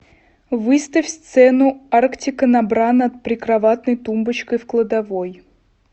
выставь сцену арктика на бра над прикроватной тумбочкой в кладовой